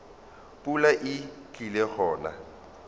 pula e tlile go na